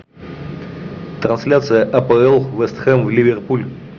трансляция апл вест хэм ливерпуль